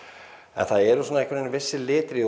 en það eru einhvern veginn vissir litir í